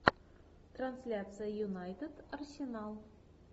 трансляция юнайтед арсенал